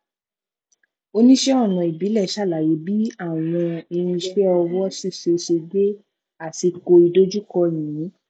oníṣẹ ọnà ìbílẹ ṣàlàyé bí àwọn irinṣẹ ọwọ ṣíṣe ṣe gbẹ àsìkò ìdojúkọ yìnyín